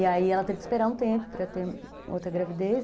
E aí ela teve que esperar um tempo para ter outra gravidez.